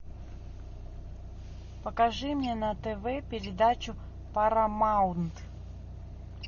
покажи мне на тв передачу парамаунт